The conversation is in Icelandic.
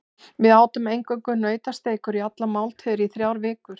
Við átum eingöngu nautasteikur í allar máltíðir í þrjár vikur.